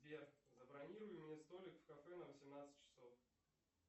сбер забронируй мне столик в кафе на восемнадцать часов